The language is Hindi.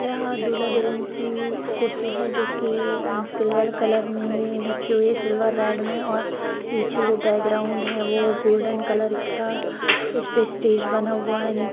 यहाँ दूल्हा-दुल्हन की कुर्सी हैं जो की सिल्वर कलर में रखी हुई हैं सिल्वर रेड में और पीछे जो बैकग्राउंड हैं वह गोल्डन कलर का इस पे स्टेज बना हुआ है।